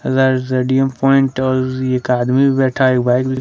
रे radium point एक आदमी भी बैठा एक बाइक भी--